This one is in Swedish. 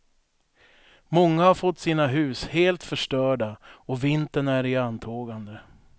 Många har fått sina hus helt förstörda och vintern är i antågande.